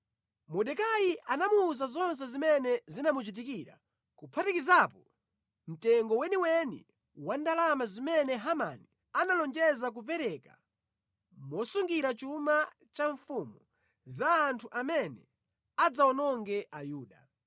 Mordekai anamuwuza zonse zimene zinamuchitikira kuphatikizapo mtengo weniweni wa ndalama zimene Hamani analonjeza kupereka mosungira chuma cha mfumu za anthu amene adzawononge a Yuda.